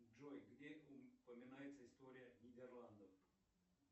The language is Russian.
джой где упоминается история нидерландов